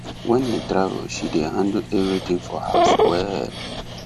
when he travel she dey handle everything for house well